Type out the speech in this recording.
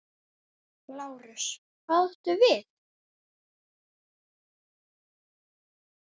LÁRUS: Hvað áttu við?